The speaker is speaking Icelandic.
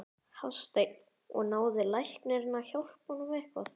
Hafsteinn: Og náði læknirinn að hjálpa honum eitthvað?